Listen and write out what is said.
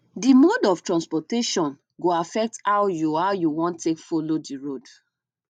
di mode of transportation go affect how you how you wan take follow di road